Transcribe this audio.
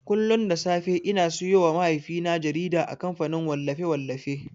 Kullun da safe ina siyowa mahaifina jarida a kamfanin wallafe-wallafi.